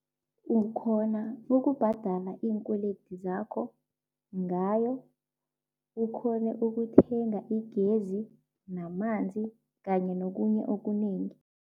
Ukghona ukubhadala iinkwelede zakho ngayo, ukghone ukuthenga igezi namanzi kanye nokunye okunengi.